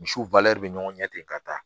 Misiw bɛ ɲɔgɔn ɲɛ ten ka taa